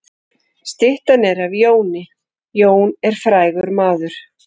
Styttan er af Jóni. Jón er frægur maður.